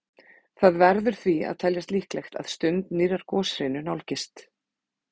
Það verður því að teljast líklegt að stund nýrrar goshrinu nálgist.